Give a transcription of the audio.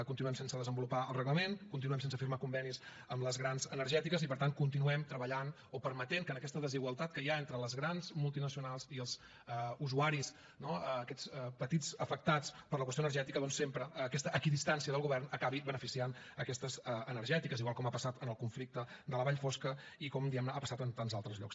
continuem sense desenvolupar el reglament continuem sense firmar convenis amb les grans energètiques i per tant continuem treballant o permetent que en aquesta desigualtat que hi ha entre les grans multinacionals i els usuaris no aquests petits afectats per la qüestió energètica doncs sempre aquesta equidistància del govern acabi beneficiant aquestes energètiques igual com ha passat en el conflicte de la vall fosca i com diguem ne ha passat en tants altres llocs